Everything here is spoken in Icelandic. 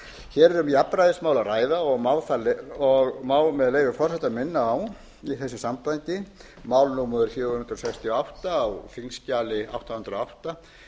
hér er um jafnræðismál að ræða og má með leyfi forseta minna á í þessu sambandi mál númer fjögur hundruð sextíu og átta á þingskjali átta hundruð og átta